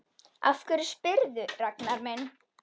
Af hverju spyrðu, Ragnar minn?